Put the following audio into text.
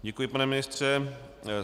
Děkuji, pane ministře.